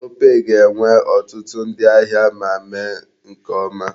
Opay ga-enwe ọtụtụ ndi ahịa ma mee nke ọma.